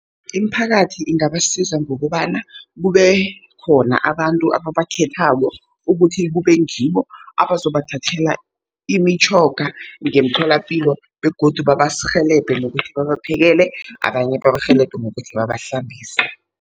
Imiphakathi ingabasiza ngokobana kube khona abantu ababakhethako, ukuthi kube ngibo abazobathathela imitjhoga ngemtholapilo begodu babarhelebhe nokuthi babaphekele, abanye babarhelebhe ngokuthi babahlambise.